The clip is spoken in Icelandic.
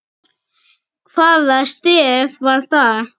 Hvaða stef var það?